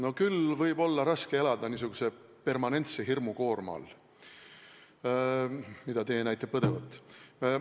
No küll võib olla raske elada niisuguse permanentse hirmukoorma all, mida teie näite kandvat.